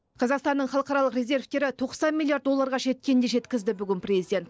қазақстанның халықаралық резервтері тоқсан миллиард долларға жеткенін де жеткізді бүгін президент